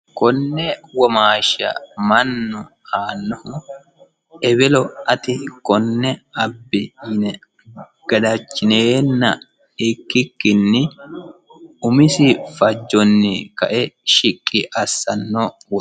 Konne womaashsha mannu aanohu ewelo ati kone abbi yine gadachinenna ikkikkinni umisi fajjoni kae shiqqi assano woxeti.